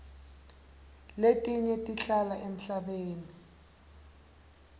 letinye tihlala emhlabeni